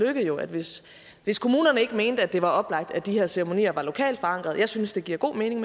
jo at hvis hvis kommunerne ikke mente at det var oplagt at de her ceremonier var lokalt forankrede jeg synes det giver god mening